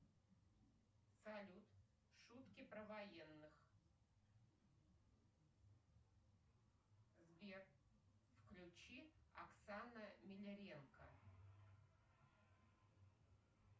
салют шутки про военных сбер включи оксана минеренко